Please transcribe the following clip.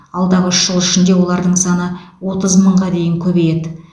алдағы үш жыл ішінде олардың саны отыз мыңға дейін көбейеді